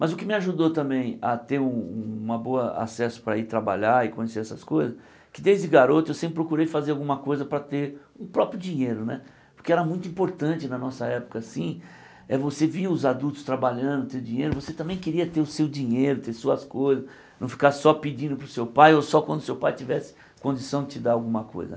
Mas o que me ajudou também a ter um uma boa acesso para ir trabalhar e conhecer essas coisas, que desde garoto eu sempre procurei fazer alguma coisa para ter o próprio dinheiro né, porque era muito importante na nossa época assim eh, você via os adultos trabalhando, ter dinheiro, você também queria ter o seu dinheiro, ter suas coisas, não ficar só pedindo para o seu pai ou só quando o seu pai tivesse condição de te dar alguma coisa.